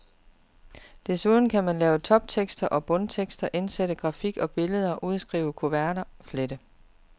Desuden kan man lave toptekster og bundtekster, indsætte grafik og billeder, udskrive kuverter, flette.